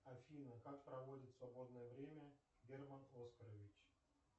афина как проводит свободное время герман оскарович